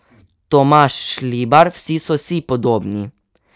Tomaž Šlibar: 'Vsi so si podobni.